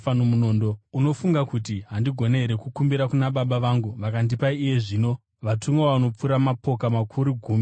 Unofunga kuti handigoni here kukumbira kuna Baba vangu, vakandipa iye zvino, vatumwa vanopfuura mapoka makuru gumi namaviri?